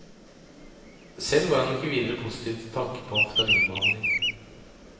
Selv var han ikke videre postiv til tanken på å amfetaminbehandling.